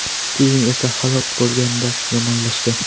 Keyin esa holat bundanda yomonlashgan.